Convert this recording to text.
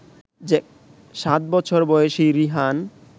সাত বছর বয়সী রিহান